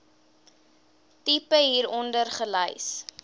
tipe hieronder gelys